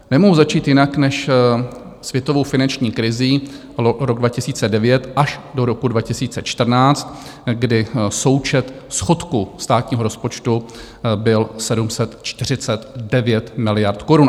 Nemohu začít jinak než světovou finanční krizí, rok 2009 až do roku 2014, kdy součet schodku státního rozpočtu byl 749 miliard korun.